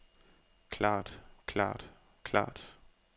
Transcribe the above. klart klart klart